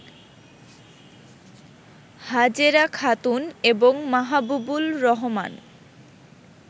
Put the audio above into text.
হাজেরা খাতুন এবং মাহাবুবুল রহমান